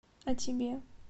а тебе